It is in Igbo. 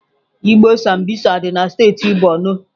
Igbo Sambisa dị na steeti Borno.